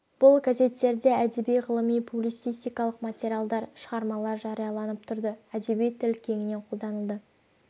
бұл газеттерде әдеби ғылыми публицистикалық материалдар шығармалар жарияланып тұрды әдеби тіл кеңінен қолданылды